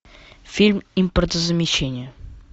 фильм импортозамещение